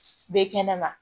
Bɛ kɛnɛ ma